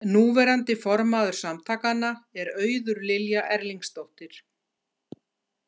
Núverandi formaður samtakanna er Auður Lilja Erlingsdóttir.